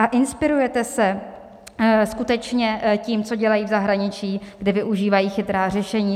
A inspirujete se skutečně tím, co dělají v zahraničí, kde využívají chytrá řešení?